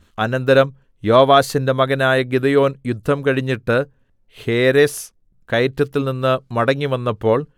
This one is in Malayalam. അനന്തരം യോവാശിന്റെ മകനായ ഗിദെയോൻ യുദ്ധം കഴിഞ്ഞിട്ട് ഹേരെസ് കയറ്റത്തിൽനിന്ന് മടങ്ങിവന്നപ്പോൾ